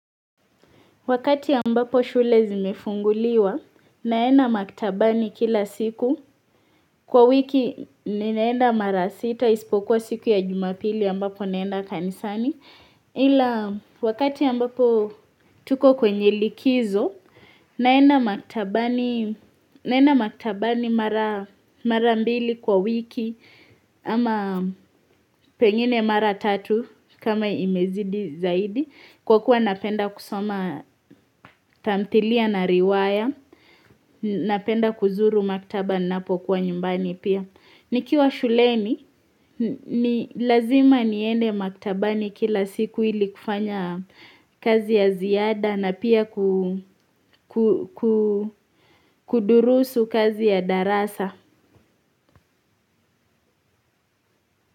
Wakati ambapo shule zimefunguliwa naenda maktabani kila siku. Kwa wiki ninaenda mara sita ispokuwa siku ya jumapili ambapo naenda kanisani. Ila wakati ambapo tuko kwenye likizo, naenda maktabani mara mbilli kwa wiki ama pengine mara tatu kama imezidi zaidi. Kwa kuwa napenda kusoma tamthilia na riwaya, napenda kuzuru maktaba ninapokuwa nyumbani pia. Nikiwa shuleni, ni lazima niende maktabani kila siku ili kufanya kazi ya ziada na pia kudurusu kazi ya darasa.